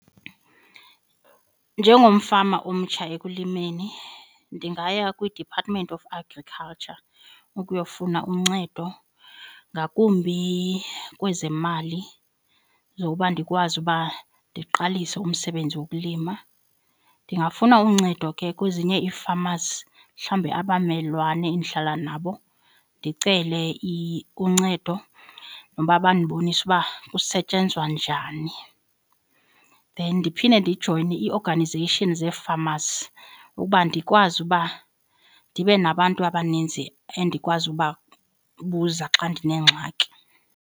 Njengomfama omtsha ekulimeni ndingaya kwiDepartment of Agriculture ukuyofuna uncedo ngakumbi kwezemali zokuba ndikwazi uba ndiqalise umsebenzi wokulima. Ndingafuna uncedo ke kwezinye ii-famers mhlawumbi abamelwane endihlala nabo ndicele uncedo noba bandibonise uba kusetyenzwa njani, then ndiphinde ndijoyine ii-organization zee-famers ukuba ndikwazi uba ndibe nabantu abaninzi endikwazi ubabuza xa ndinengxaki.